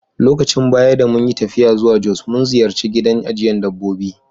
Lokacin baya da mun yi taffiya zuwa Jos, mun ziyace gidan ajiyan dabbobi.